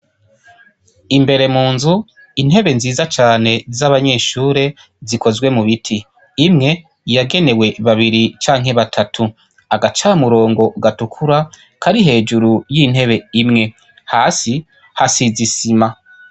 Imbere mu nzu, intebe nziza cane z'abanyeshure zikozwe mu biti. Imwe yagenewe babiri canke batatu. Agacamurongo gatukura kari hejuru y'intebe imwe. Hasi hasize isima.